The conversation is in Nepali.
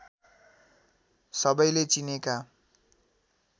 सबैले चिनेका